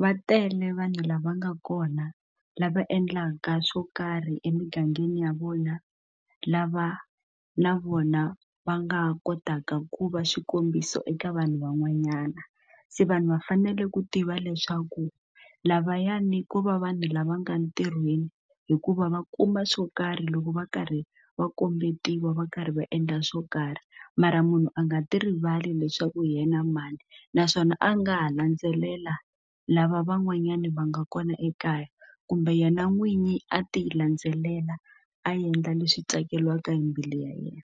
va tele vanhu lava nga kona lava endlaka swo karhi emigangeni ya vona lava na vona va nga kotaka ku va xikombiso eka vanhu van'wanyana se vanhu va fanele ku tiva leswaku lavayani ko va vanhu lava nga ntirhweni hikuva va kuma swo karhi loko va karhi va kombeteliwe va karhi va endla swo karhi mara munhu a nga ti rivali leswaku hi yena mani naswona a nga ha landzelela lava van'wanyani va nga kona ekaya kumbe yena n'winyi a ti landzelela a endla leswi tsakelaka hi mbilu ya yena.